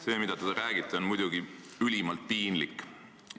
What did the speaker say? See, mida te räägite, on muidugi ülimalt piinlik.